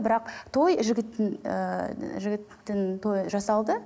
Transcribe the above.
бірақ той жігіттің ііі жігіттің тойы жасалды